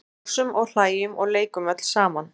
Brosum og hlæjum og leikum öll saman.